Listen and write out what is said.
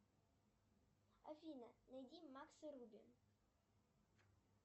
афина найди макса руби